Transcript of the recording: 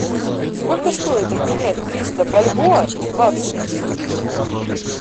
сколько стоит обменять триста бальбоа в баксы